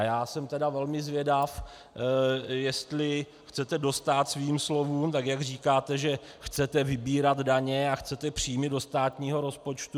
A já jsem tedy velmi zvědav, jestli chcete dostát svým slovům, tak jak říkáte, že chcete vybírat daně a chcete příjmy do státního rozpočtu.